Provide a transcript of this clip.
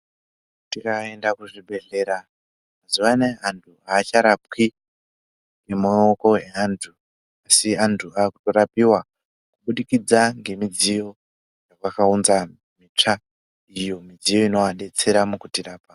Tikaenda kuzvibhehlera mazuva anaya vantu havacharapwi nemaoko eantu asi antu aakurapiwa kubudikidza ngemidziyo yakaunza, mitsva iyo midziyo inodetsera kutirapa.